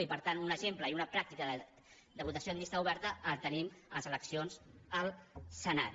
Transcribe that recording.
i per tant un exemple i una pràctica de votació amb llista oberta el tenim a les eleccions al senat